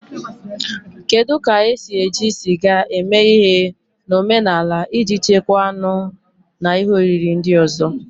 Kedu ka esi eji sịga eme ihe na omenala iji chekwaa anụ na ihe oriri ndị ọzọ?